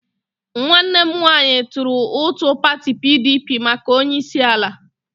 Nwanne m nwanyi turu utu pati PDP maka onyeisiala.